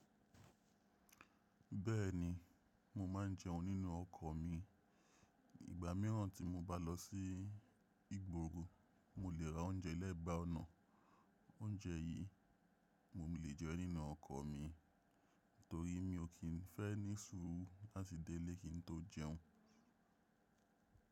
Bẹ́ẹ̀ ni, mo ma ń jẹun nínú ọkọ̀ mi. Ìgbà míràn tí mo bá lọ sí ìgboro, mo lè ra oúnjẹ lẹ́gbàá ọ̀nà. Oúnjẹ yìí mo lè jẹ nínú ọkọ̀ mi torí mi ò kí n fẹ́ ní sùúrù láti dé ilé kí n tó jẹun.